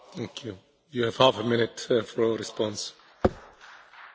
Señora, creo que usted no ha entendido para nada mi intervención.